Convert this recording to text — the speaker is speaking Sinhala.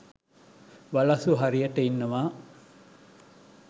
වලස්සු හරියට ඉන්නවා.